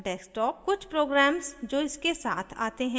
* कुछ programs जो इसके साथ आते हैं